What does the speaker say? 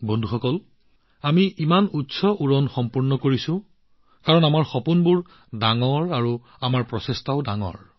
বন্ধুসকল আমি ইমান উচ্চ উৰণ সম্পূৰ্ণ কৰিলোঁ কাৰণ আজি আমাৰ সপোনবোৰ ডাঙৰ আৰু আমাৰ প্ৰচেষ্টাও ডাঙৰ